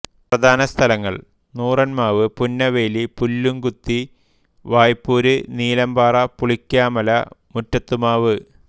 പ്രധാനസ്ഥലങ്ങൾ Nooronmavu Punnaveli Pullukuthi Vaipur Neelampara Pulikkamala Muttathumavu